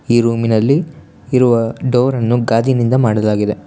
ಈ ರೂಮಿನಲ್ಲಿ ಇರುವ ಡೋರನ್ನು ಗಾಜಿನಿಂದ ಮಾಡಲಾಗಿದೆ.